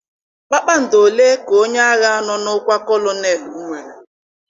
Kpakpando ole ka onye agha nọ n'okwa kolonelụ nwere?